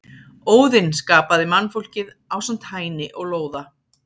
Óðinn skapaði mannfólkið ásamt Hæni og Lóða.